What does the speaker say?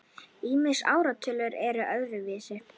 Ýmis ártöl eru óviss.